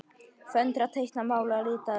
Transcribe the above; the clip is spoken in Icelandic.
Föndra- teikna- mála- lita- listir